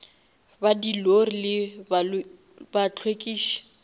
ba di lori le bahlwekiši